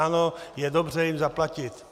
Ano, je dobře jim zaplatit.